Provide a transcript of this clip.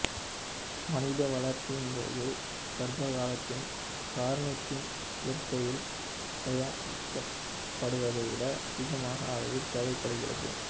மனித வளர்ச்சியின் போதும் கர்ப்பக் காலத்திலும் கார்னிதின் இயற்கையில் தயாரிக்கப்படுவதைவிட அதிகமாக அளவில் தேவைப்படுகிறது